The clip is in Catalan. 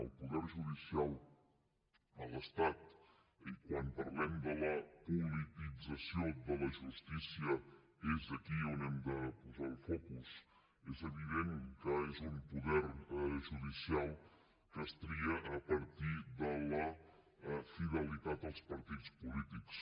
el poder judicial de l’estat i quan parlem de la politització de la justícia és aquí on hem de posar el focus és evident que és un poder judicial que es tria a partir de la fidelitat als partits polítics